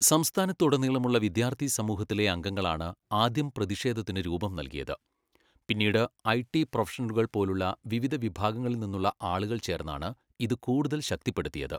സംസ്ഥാനത്തുടനീളമുള്ള വിദ്യാർത്ഥി സമൂഹത്തിലെ അംഗങ്ങളാണ് ആദ്യം പ്രതിഷേധത്തിന് രൂപം നൽകിയത്, പിന്നീട് ഐടി പ്രൊഫഷണലുകൾ പോലുള്ള വിവിധ വിഭാഗങ്ങളിൽ നിന്നുള്ള ആളുകൾ ചേർന്നാണ് ഇത് കൂടുതൽ ശക്തിപ്പെടുത്തിയത്.